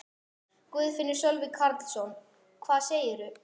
Guðfinnur Sölvi Karlsson: Hvað segirðu?